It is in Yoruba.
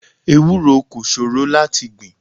Ewúro kò ṣòro láti gbìn.